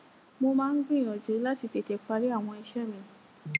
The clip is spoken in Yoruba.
mo máa ń gbìyànjú láti tètè parí àwọn iṣé mi